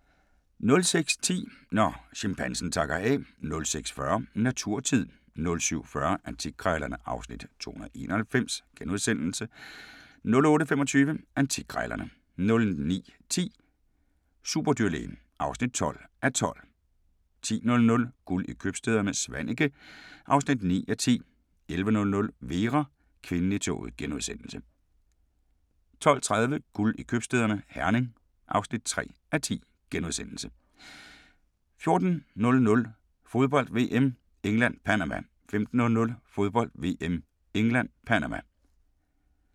06:10: Når chimpansen takker af 06:40: Naturtid 07:40: Antikkrejlerne (Afs. 291)* 08:25: Antikkrejlerne * 09:10: Superdyrlægen (12:12) 10:00: Guld i købstæderne - Svaneke (9:10) 11:00: Vera: Kvinden i toget * 12:30: Guld i købstæderne - Herning (3:10)* 14:00: Fodbold: VM - England-Panama 15:00: Fodbold: VM - England-Panama